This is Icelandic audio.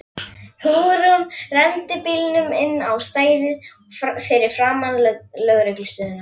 Hugrún renndi bílnum inn á stæðið fyrir framan lögreglustöðina.